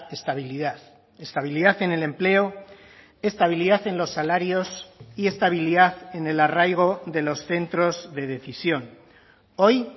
estabilidad estabilidad en el empleo estabilidad en los salarios y estabilidad en el arraigo de los centros de decisión hoy